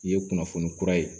I ye kunnafoni kura ye